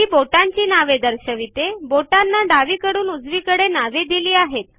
हि बोटांची नावे दर्शविते बोटांना डावीकडून उजवीकडे नावे दिली आहेत